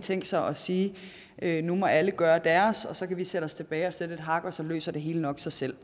tænkt sig at sige at nu må alle gøre deres og så kan vi sætte os tilbage og sætte et hak og så løser det hele sig nok af sig selv